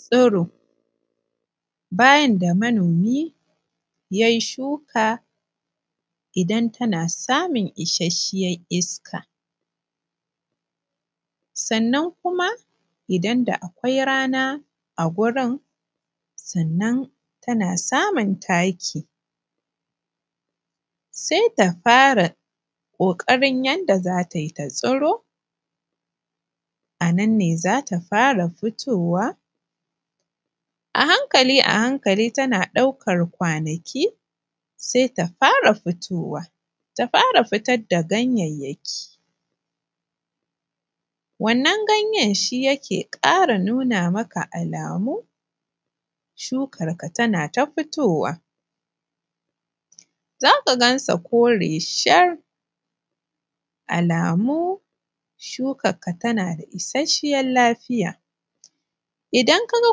Tsiro, bayan da manomi yai shuka idan tana samun isasshiyan iska sannan kuma idan da akwai rana a gurin sannan tana samun taki sai ta fara kokarin yadda za ta yi ta tsiro a nan ne za ta fara fitowa a hankali tana ɗaukan kwanaki sai ta fara fitowa ta fara fitar da ganyanyaki wannan ganyen shi yake ƙara nuna maka alamu shukan ka tana ta fitowa za ka ganta kore shar alamu shukan ka tana da isasshen lafiya idan kuma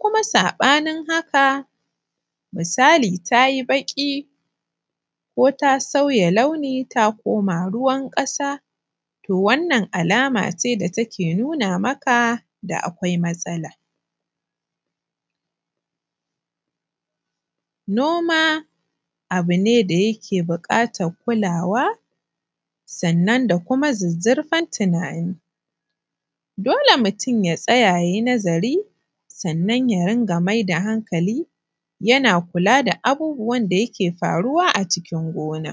kaga sabanin haka misali ta yi baki ko ta sauya launi to wannan alama ce da take nuna maka akwai matsala. Noma abu ne da yake bukatan kulawa sannan kuma da zuzzurfan tunani dole mutun ya tsaya ya yi nazari sannan kuma ya mai da hankali ya rika kula da abun da ke faruwa a cikin gonan.